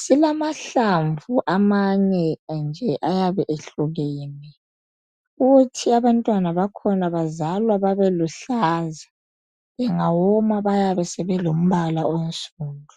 silamahlamvu amanye nje ayabe ehlukene kuthi abantwana bakhona bazalwa babeluhlaza bengawoma bayabe sebelombala onsundu .